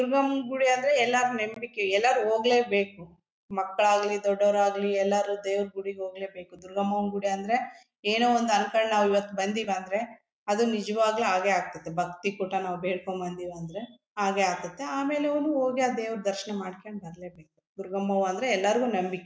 ದುರ್ಗಮ್ಮ ಗುಡಿ ಅಂದ್ರೆ ಎಲ್ಲರ ನಂಬಿಕೆ ಎಲ್ಲರು ಹೋಗ್ಬೇಕು ಮಕ್ಕಳು ಆಗ್ಲಿ ದೊಡ್ಡವರು ಆಗ್ಲಿ ಎಲ್ಲರು ದೇವರ ಗುಡಿಗೆ ಹೋಗ್ಲೇ ಬೇಕು ದುರ್ಗಮ್ಮನ ಗುಡಿ ಅಂದ್ರೆ ಏನೋಒಂದು ಅನ್ಕೊಂಡು ನಾವು ಬಂದಿವಿ ಅಂದ್ರೆ ಅದು ನಿಜವಾಗ್ಲೂ ಆಗೇ ಆಗ್ತಿತ್ತೆ ಭಕ್ತಿ ಕೂಟ ನಾವು ಬೇಡ್ಕೊಂಡು ನಾವು ಬೇಡ್ಕೊಂಡು ಬಂದಿವಿ ಅಂದ್ರೆ ಆಗೇ ಆಗ್ತತ್ತೆ ಆಮೇಲೆ ಅವರು ಹೋಗಿ ಆ ದೇವರ ದರ್ಶನ ಮಾಡ್ಕೊಂಡು ಬಲೇ ಬೇಕು ದುರ್ಗಮ್ಮವ್ವ ಅಂದ್ರೆ ಎಲ್ಲರು ನಂಬಿಕೆ.